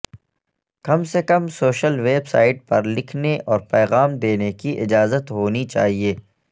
کم سے کم social website پر لکھنے اور پیغام دینے کی اجازت ہونی چاہئے